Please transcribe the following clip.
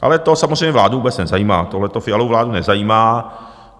Ale to samozřejmě vládu vůbec nezajímá, tohleto Fialovu vládu nezajímá.